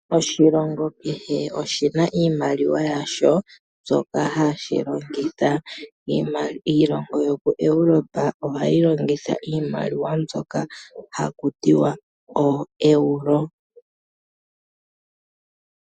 Oshilongo kehe oshi na iimaliwa yasho mbyoka ha shi longitha, iilongo yo koEuropa oha yi longitha iimaliwa mbyoka ha ku tiwa ooEuro.